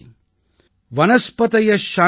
சாந்திரோஷதய சாந்தி